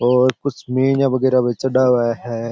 और कुछ मीनिया बगेरा पर चढ़ा हुआ है।